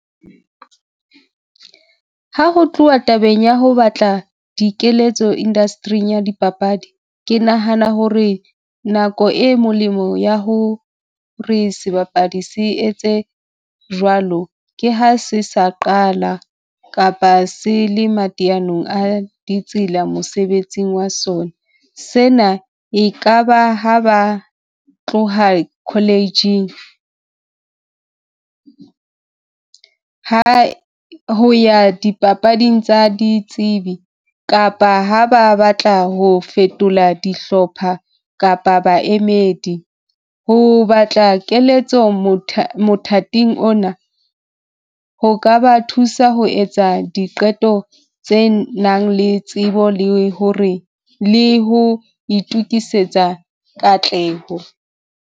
Ha ho tluwa tabeng ya ho batla dikeletso industry-ing ya dipapadi. Ke nahana ho re nako e molemo ya ho re sebapadi se etse jwalo ke ha se sa qala kapa se le mateyanong a ditsela mosebetsing wa sona. Sena e ka ba ha ba tloha college-ing, ha ho ya di papading tsa ditsebi kapa ha ba batla ho fetola dihlopha kapa baemedi. Ho batla keletso mothating ona, ho ka ba thusa ho etsa diqeto tse nang le tsebo le ho re le ho itukisetsa katleho.